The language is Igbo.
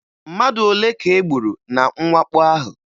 Mmadụ ole ka e gburu na mwakpo ahụ?